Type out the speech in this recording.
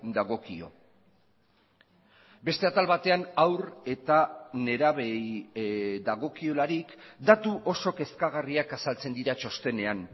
dagokio beste atal batean haur eta nerabeei dagokiolarik datu oso kezkagarriak azaltzen dira txostenean